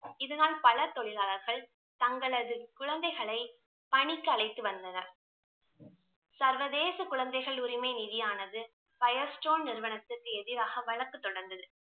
இதனால் பல தொழிலாளர்கள் தங்களது குழந்தைகளை பணிக்கு அழைத்து வந்தனர் சர்வதேச குழந்தைகள் உரிமை நிதியானது பயர் ஸ்டோன் நிறுவனத்திற்கு எதிராக வழக்கு தொடர்ந்தது